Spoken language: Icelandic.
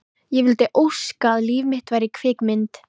Ég vildi óska að líf mitt væri kvikmynd.